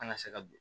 An ka se ka don